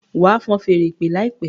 wá fọ́n Fèèrè ìpè láìpé!